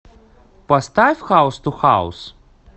поставь хаус ту хаус